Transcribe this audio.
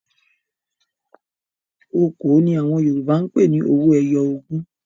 "Okòó" ni àwọn Yorùbá ń pe owó ẹyọ ogún.